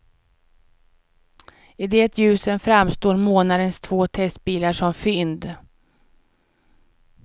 I det ljuset framstår månadens två testbilar som fynd.